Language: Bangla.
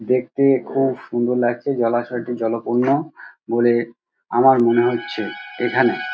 দেখতে খুব সুন্দর লাগছে জলাশয়টি জলপূর্ণ বলে আমার মনে হচ্ছে এখানে।